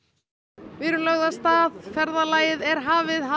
við erum lögð af stað ferðalagið er hafið